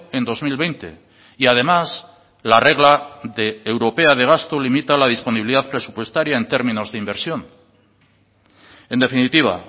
en dos mil veinte y además la regla de europea de gasto limita la disponibilidad presupuestaria en términos de inversión en definitiva